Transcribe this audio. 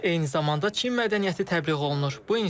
Eyni zamanda Çin mədəniyyəti təbliğ olunur.